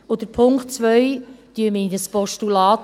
Den Punkt 2 wandeln wir in ein Postulat.